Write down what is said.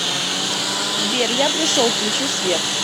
сбер я пришел включи свет